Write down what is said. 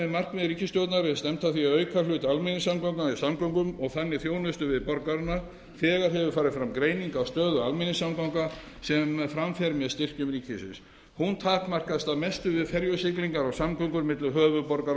markmið ríkisstjórnarinnar er stefnt að því að auka hlut almenningssamgangna í samgöngum og þannig þjónustu við borgarana þegar hefur farið fram greining á stöðu almenningssamgangna sem fram fer með styrkjum ríkisins hún takmarkast að mestu við ferjusiglingar og samgöngur milli höfuðborgar